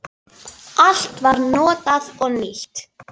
Allt var notað og nýtt.